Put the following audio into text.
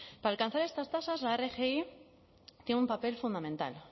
para alcanzar estas tasas la rgi tiene un papel fundamental